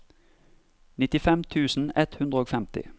nittifem tusen ett hundre og femti